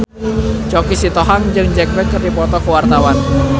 Choky Sitohang jeung Jack Black keur dipoto ku wartawan